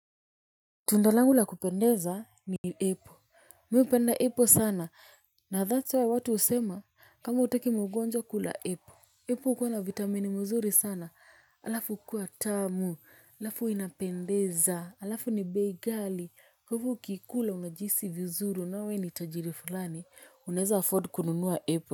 Tunda langu la kupendeza ni apple. Mimi hupenda apple sana na thats why watu husema kama hutaki magonjwa kula apple. Apple hukuwa na vitamini mzuri sana alafu hukuwa tamu alafu inapendeza alafu ni bei gali huku ukiikula unajihisi vizuri unaona we ni tajiri fulani unaeza afford kununua apple.